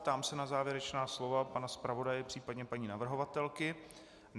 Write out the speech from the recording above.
Ptám se na závěrečná slova pana zpravodaje, případně paní navrhovatelky.